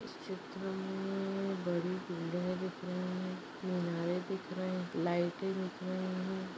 चित्र में बड़ी बिल्डिंगे दिख रही है। मिनारे दिख रहे है लाइटे दिख रहे है।